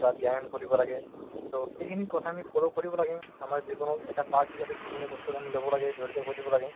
বা ব্যায়াম কৰিব লাগে to সেইখিনি কথা আমি follow কৰিব লাগে আমাৰ জীৱনৰ এটা part হিচাপে সেইখিনি বস্তুক আমি লব লাগে জৰিত কৰিব লাগে